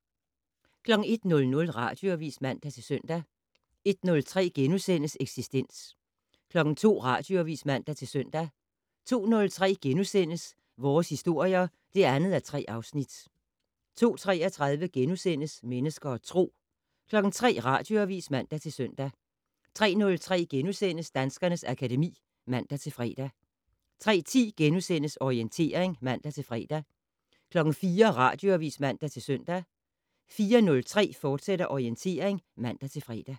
01:00: Radioavis (man-søn) 01:03: Eksistens * 02:00: Radioavis (man-søn) 02:03: Vores historier (2:3)* 02:33: Mennesker og Tro * 03:00: Radioavis (man-søn) 03:03: Danskernes akademi *(man-fre) 03:10: Orientering *(man-fre) 04:00: Radioavis (man-søn) 04:03: Orientering, fortsat (man-fre)